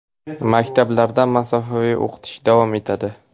Maktablarda masofaviy o‘qitish davom etadi.